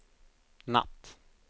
natt